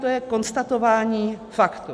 To je konstatování faktu.